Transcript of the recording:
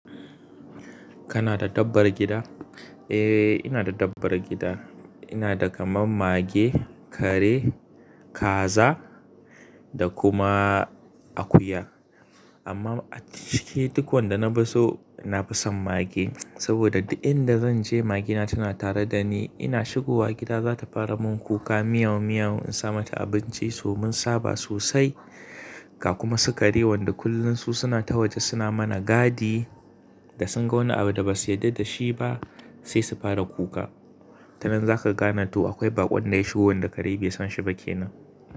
Kana da dabbar gida? Eh ina da dabbar gida. Ina da kaman mage, kare, kaza da kuma akuya. Amma a cike duk wanda na fi so, na fi son mage saboda duk inda zan je magina tana tare da ni. Ina shigo wa gida za ta fara mun kuka miyau miyau in sa mata abinci, sa mun saba sosai. Ka kuma su kare wanda kullum su suna ta waje suna mana gadi da sun ga wani abu da basu yarda da shi ba sai su fara kuka. Tanan zaka gane to akwai bakon da ya shigo wanda kare bai san shi ba kenan.